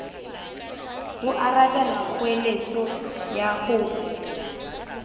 ho arabela kgoeletso ya ho